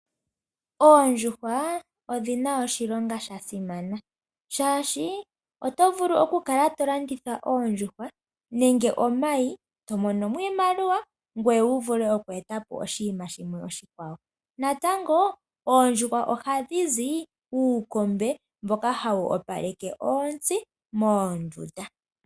Oondjuhwa odhina oshilonga sha simana, shaashi oto vulu okukala to landitha oondjuhwa nenge omayi to mono mo iimaliwa, ngoye wu vule oku eta po oshinima shimwe oshikwawo. Natango oondjuhwa ohadhi zi uukombe mboka hawu opaleke oontsi moondunda.